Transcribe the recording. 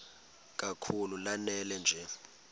kakhulu lanela nje